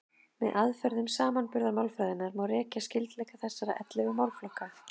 Með aðferðum samanburðarmálfræðinnar má rekja skyldleika þessara ellefu málaflokka.